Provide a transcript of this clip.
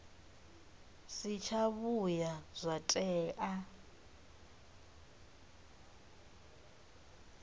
si tsha vhuya zwa tea